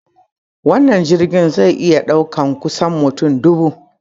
Wannan jirgin zai iya ɗaukar kusan mutane dubu.